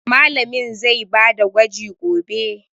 Mallamin zai ba da gwaji gobe.